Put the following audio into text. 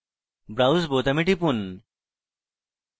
browse বোতামে টিপুন